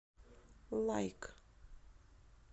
лайк